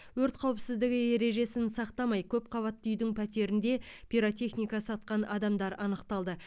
өрт қауіпсіздігі ережесін сақтамай көпқабатты үйдің пәтерінде пиротехника сатқан адамдар анықталды